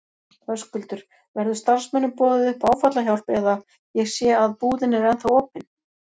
Höskuldur: Verður starfsmönnum boðið upp á áfallahjálp eða, ég sé að búðin er ennþá opin?